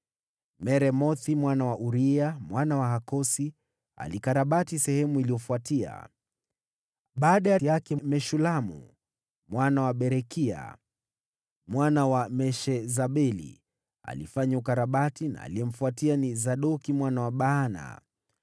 Meremothi mwana wa Uria, mwana wa Hakosi, alikarabati sehemu iliyofuatia. Baada yake Meshulamu mwana wa Berekia, mwana wa Meshezabeli, alifanya ukarabati na aliyemfuatia ni Sadoki mwana wa Baana.